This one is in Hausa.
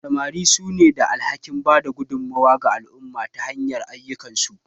Samari sune da alhakin bada gudummawa ga al'umma ta hanyar ayyukansu.